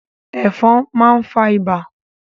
Ẹ̀fọn máa ń fa ibà.